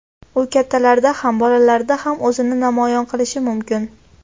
U kattalarda ham, bolalarda ham o‘zini namoyon qilishi mumkin.